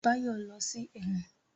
Báyọ̀ lọ sí ẹ̀wọ̀n